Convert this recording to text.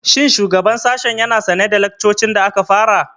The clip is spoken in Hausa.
Shin shugaban sashen ya na sane da laccocin da aka kafa?